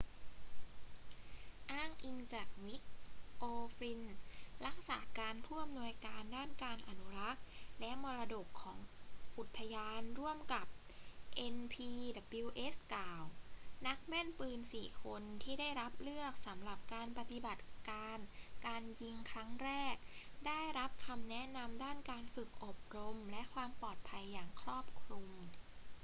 อ้างอิงจากมิก โอฟลินน์ รักษาการผู้อำนวยการด้านการอนุรักษ์และมรดกของอุทยานร่วมกับ npws กล่าว นักแม่นปืนสี่คนที่ได้รับเลือกสำหรับปฏิบัตการการยิงครั้งแรกได้รับคำแนะนำด้านการฝึกอบรมและความปลอดภัยอย่างครอบคลุม